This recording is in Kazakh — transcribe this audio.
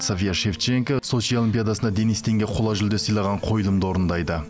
софия шевченко сочи олимпиадасында денис тенге қола жүлде сыйлаған қойылымды орындайды